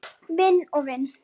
Vinn og vinn?